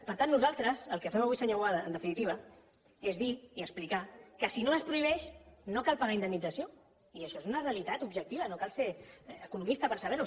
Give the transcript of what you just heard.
per tant nosaltres el que fem avui senyor boada en definitiva és dir i explicar que si no es prohibeix no cal pagar indemnització i això és una realitat objectiva no cal ser economista per saber ho